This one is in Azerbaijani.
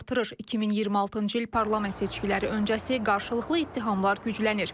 2026-cı il parlament seçkiləri öncəsi qarşılıqlı ittihamlar güclənir.